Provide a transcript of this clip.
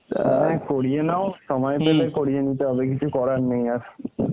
হ্যাঁ করিয়ে নাও সময় মত করিয়ে নিতে হবে কিছু করার নেই আর